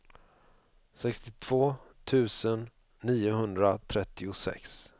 sextiotvå tusen niohundratrettiosex